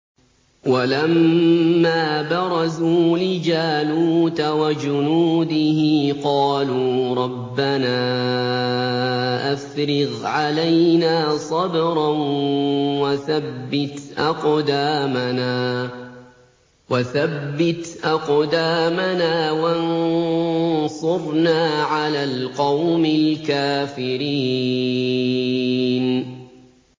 وَلَمَّا بَرَزُوا لِجَالُوتَ وَجُنُودِهِ قَالُوا رَبَّنَا أَفْرِغْ عَلَيْنَا صَبْرًا وَثَبِّتْ أَقْدَامَنَا وَانصُرْنَا عَلَى الْقَوْمِ الْكَافِرِينَ